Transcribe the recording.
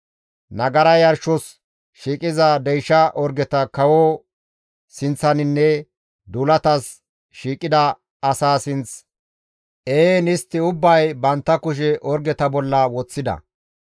Nagara yarshos shiiqiza deysha orgeta kawoza sinththinne duulatas shiiqida asaa sinth ehiin istti ubbay bantta kushe orgeta bolla woththida.